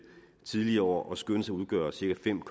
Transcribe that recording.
tidligere år og skønnes at udgøre cirka fem